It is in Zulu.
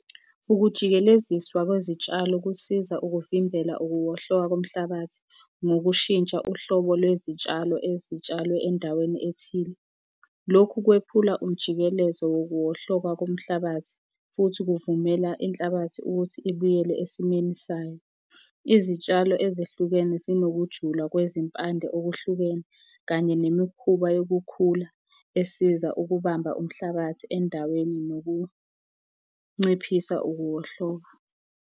Ukujikeleziswa kwezitshalo kusiza ukuvimbela ukuwohloka komhlabathi ngokushintsha uhlobo lwezitshalo ezitshalwe endaweni ethile. Lokho kwephula umjikelezo wokuwohloka komhlabathi, futhi kuvumela inhlabathi ukuthi ibuyele esimweni sayo. Izitshalo ezehlukene zinokujula, kwezimpande okuhlukene, kanye nemikhuba yokukhula esiza ukubamba umhlabathi endaweni nokunciphisa ukuwohlolwa.